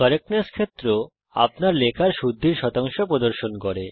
correctness ক্ষেত্র আপনার লেখার শুদ্ধি শতাংশ প্রদর্শন করে